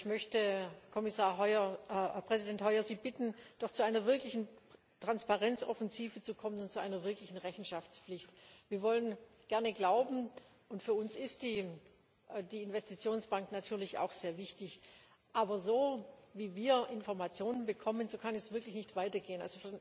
Ich möchte Sie, Herr Präsident Hoyer, bitten, doch zu einer wirklichen Transparenzoffensive zu kommen und zu einer wirklichen Rechenschaftspflicht. Wir wollen gerne glauben, für uns ist die Investitionsbank natürlich auch sehr wichtig, aber so, wie wir Informationen bekommen, kann es wirklich nicht weitergehen.